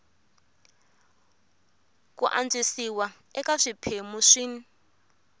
ku antswisiwa eka swiphemu swin